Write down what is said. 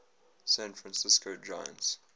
san francisco giants